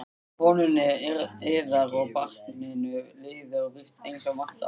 Konunni yðar og barninu líður víst eins og vantar?